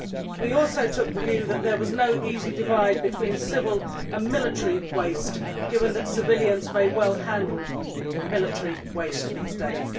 We also took the view that there was no easy divide between civil and military waste, given that civilians may well handle military waste these days.